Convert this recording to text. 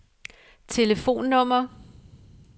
telefonnummer